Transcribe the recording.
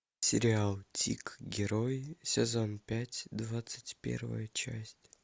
сериал тик герой сезон пять двадцать первая часть